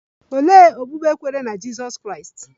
Olee okpukpe kweere na Jizọs Kraịst?